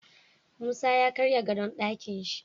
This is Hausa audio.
Musa ya karya gadon Ɗakinshi